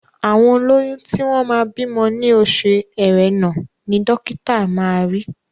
Àwọn olóyún tí wọ́n máa bímọ ní oṣù Ẹrẹ́nà ni dọ́kítà máa ri.